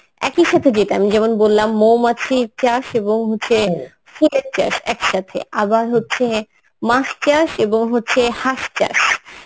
একই সাথে যেটা আমি যেমন বললাম মৌমাছির চাষ এবং হচ্ছে ফুলের চাষ এক সাথে, আবার হচ্ছে মাছ চাষ এবং হচ্ছে হাঁস চাষ